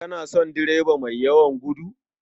Kana son direba mai yawan gudu?